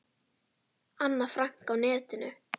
Anna Frank á netinu.